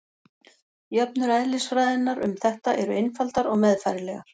Jöfnur eðlisfræðinnar um þetta eru einfaldar og meðfærilegar.